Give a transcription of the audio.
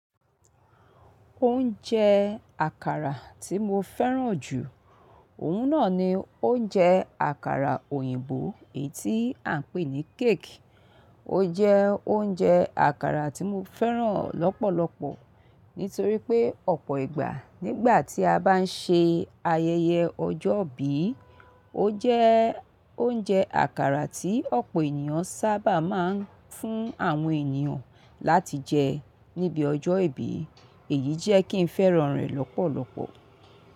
Oúnjẹ àkàrà tí mo fẹ́ràn jù, òun náà ni oúnjẹ àkàrà òyìnbó èyí tí à ń pè ní cake. Ó jẹ́ oúnjẹ àkàrà tí mo fẹ́ràn lọ́pọ̀lọpọ̀ nítorí pé ọ̀pọ̀ ìgbà nígbà tí a bá ń ṣe ayẹyẹ ọjọ́ ìbí, ó jẹ́ oúnjẹ àkàrà tí ọ̀pọ̀ ènìyàn sábà máa ń fún àwọn ènìyàn láti jẹ níbi ọjọ́ ìbí. Èyí jẹ́ kí n fẹ́ràn rẹ̀ lọ́pọ̀lọpọ̀.